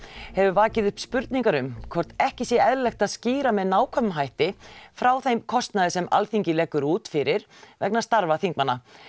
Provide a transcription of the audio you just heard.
hefur vakið upp spurningar um hvort ekki sé eðlilegt að skýra með nákvæmum hætti frá þeim kostnaði sem Alþingi leggur út fyrir vegna starfa þingmanna